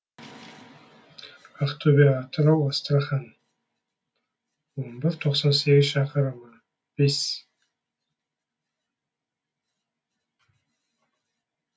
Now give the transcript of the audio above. ақтөбе атырау астрахань он бір тоқсан сегіз шақырымы бес